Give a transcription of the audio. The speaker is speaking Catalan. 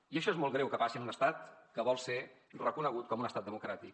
i això és molt greu que passi en un estat que vol ser reconegut com un estat democràtic